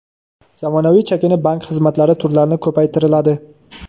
zamonaviy chakana bank xizmatlari turlarini ko‘paytiriladi;.